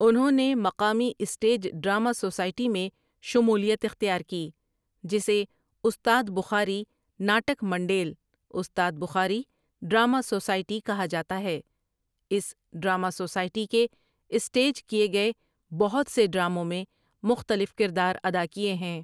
انہوں نے مقامی اسٹیج ڈرامہ سوسائٹی میں شمولیت اختیار کی جسے استاد بخاری ناٹک منڈیل استاد بخاری ڈرامہ سوسائٹی کہا جاتا ہے اس ڈرامہ سوسائٹی کے اسٹیج کیے گئے بہت سے ڈراموں میں مختلف کردار ادا کیے ہیں ۔